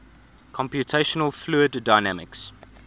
computational fluid dynamics